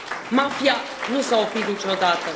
Mafia nu s a oprit niciodată.